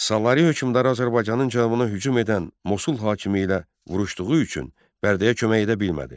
Salari hökmdarı Azərbaycanın cənubuna hücum edən Mosul hakimi ilə vuruşduğu üçün Bərdəyə kömək edə bilmədi.